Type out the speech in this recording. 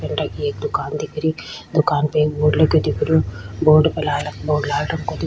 की एक दुकान दिख रही दुकान पे एक बोर्ड लगे दिख रह्यो बोर्ड पे लाल रंग बोर्ड लाल रंग को --